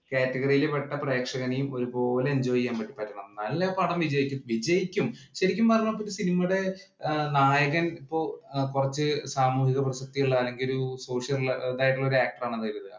category യില്‍ പെട്ട പ്രേക്ഷകനെയും ഒരുപോലെ enjoy പറ്റി വരണം. എന്നാലെ ആ പടം വിജയിക്കൂ. വിജയിക്കും. ശരിക്കും പറഞ്ഞാല്‍ cinema യുടെ നായകന്‍ ഇപ്പൊ കുറച്ചു സാമൂഹിക പ്രസക്തിയുള്ള അല്ലെങ്കില്‍ social ഇതായിട്ടുള്ള actor ആണെന്ന് കരുതുക.